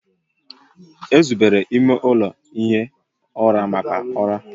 Ezubere ime ụlọ ihi ụra maka ụra